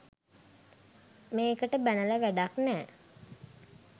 මේකට බැනල වැඩක් නෑ